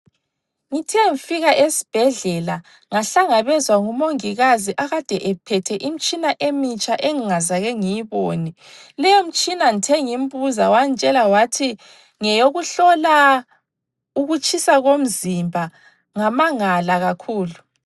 Ngithe nfika esibhedlela ngahlangabezwa ngumongikazi akade ephethe imtshina emitsha engingakaze ngiyibone, leyo mtshina ngithe ngimbuza wantshela wathi ngeyokuhlola ukutshisa komzimba ngamangala kakhulu.